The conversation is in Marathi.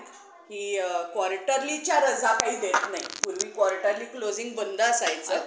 प्रत्येक यशस्वी माणसांमध्ये एक सवय सामान्य असते ते म्हणजे पुस्तके वाचण्याची, पुस्तके कधीही खोटे बोलत नाही आणि